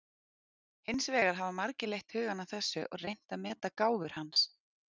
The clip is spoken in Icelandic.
Hins vegar hafa margir leitt hugann að þessu og reynt að meta gáfur hans.